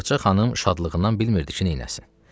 Ağacə xanım şadlığından bilmirdi ki, neyləsin.